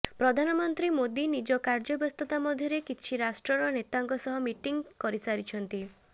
ପ୍ରଧାନମନ୍ତ୍ରୀ ମୋଦି ନିଜ କାର୍ଯ୍ୟ ବ୍ୟସ୍ତତା ମଧ୍ୟରେ କିଛି ରାଷ୍ଟ୍ରର ନେତାଙ୍କ ସହ ମିଟିଂ କରିସାରିଛନ୍ତି